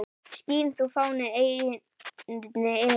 Skín þú, fáni, eynni yfir